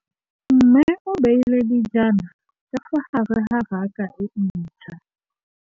Mmê o beile dijana ka fa gare ga raka e ntšha.